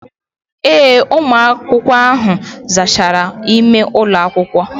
Ee, ụmụ akwụkwọ ahụ zachara ime ụlọ akwụkwọ.